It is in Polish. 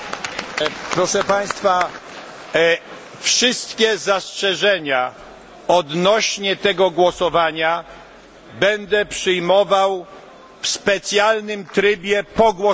Proszę Państwa, wszystkie zastrzeżenia odnośnie do głosowania będę przyjmował w specjalnym trybie po głosowaniu.